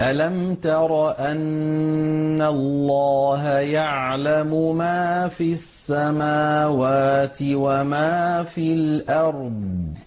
أَلَمْ تَرَ أَنَّ اللَّهَ يَعْلَمُ مَا فِي السَّمَاوَاتِ وَمَا فِي الْأَرْضِ ۖ